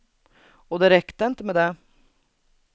Och det räckte inte med det.